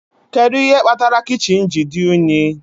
Kedu ihe kpatara kichin ji dị unyi?